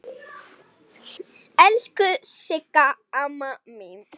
Elsku Sigga amma mín.